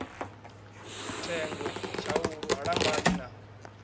thengwe tshaulu ha lambani na